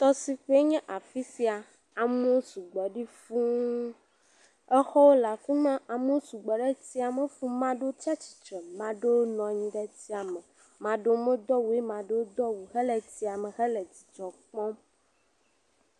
Tɔsiƒee nye afi sia. Amewo sugbɔ ɖi fuu. Exɔwo le afi ma, amewo sugbɔ ɖe tsia me fuu. Ame aɖewo tsiatsitre, ame aɖwo nɔ anyi ɖe tsia me. Ame aɖewo medo awu o ye ame aɖewo do awu hele tsia me hele dzidzɔ kpɔm.